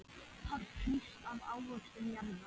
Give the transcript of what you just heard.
Páll hrífst af ávöxtum jarðar.